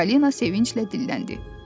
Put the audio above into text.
Çipalina sevinclə dilləndi.